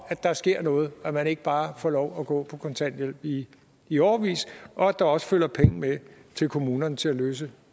at der sker noget at man ikke bare får lov at gå på kontanthjælp i i årevis og at der også følger penge med til kommunerne til at løse